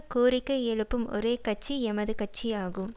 கோரிக்கை எழுப்பும் ஒரே கட்சி எமது கட்சி ஆகும்